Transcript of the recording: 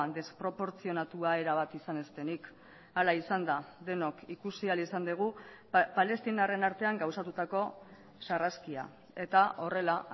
desproportzionatua erabat izan ez denik hala izan da denok ikusi ahal izan dugu palestinarren artean gauzatutako sarraskia eta horrela